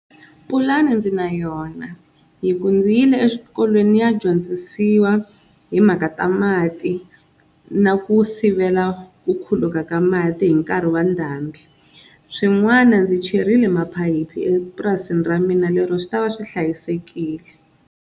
Pulani ndzi na yona hi ku ndzi yile eswikolweni ndzi ya dyondzisiwa hi timhaka ta mati na ku sivela ku khuluka ka mati hi nkarhi wa ndhambi. Swin'wana ndzi cherile maphayiphi epurasini ra mina lero swi ta va swi hlayisekile.